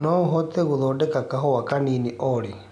no uhote gũthondeka kahũa kahũa kanini olly